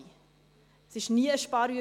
Es war nie eine Sparübung.